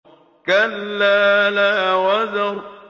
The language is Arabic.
كَلَّا لَا وَزَرَ